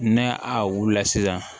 N'a a wula sisan